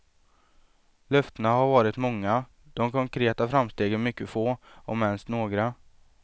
Löftena har varit många, de konkreta framstegen mycket få, om ens några.